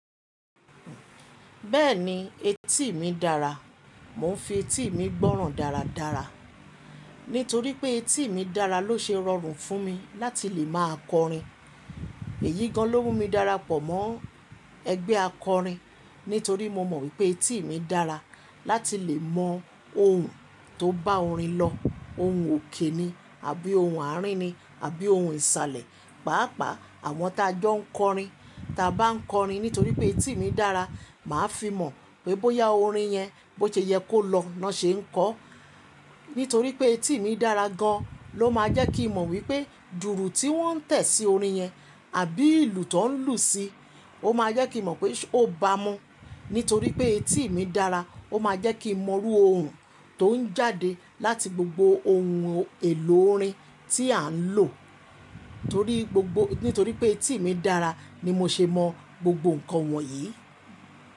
Bẹ́ẹ̀ni etí ì mi dára. Mo ń fi etí ì mi gbọ́ràn dáradára, nítorí pé etí ì mi dára ló ṣe rọrùn fún mi láti lè máa kọrin. Èyí gan ló mú mi darapọ̀ mọ́ ẹgbẹ́ akọrin. Nítorí mo mọ̀ wípé etí ì mi dára láti lè mọ ohùn tó bá orin lọ ohùn òkè ni àbí ohùn àárín ni àbí ohùn ìsàlẹ̀. Páápàá àwọn tí a jọ ń kọrin, tí a bá ń kọrin nítorí pé etí ì mi dára, màá fi mọ̀ wípé bóyá orin yẹn bó ṣe yẹ kó lọ lọ́ ṣe ń kọ. Nítorí pé etí ì mi dára gan ló máa jẹ́ kí n mọ̀ wípé dùùrù tí wọ́n ń tẹ̀ sí orin yẹn àbí ìlù tó ń lù ú sí, ó máa jẹ́ kí n mọ̀ pé ó bá mu. Nítorí pé etí ì mi dára ó máa jẹ́ kí mo mọrú ohùn tó ń jáde láti gbogbo ohun èlò orin tí à ń lò. Nítorí pé etí ì mi dára ni mo ṣe mọ gbogbo ǹkan wọ̀nyí.